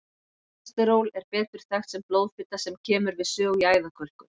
Kólesteról er betur þekkt sem blóðfita sem kemur við sögu í æðakölkun.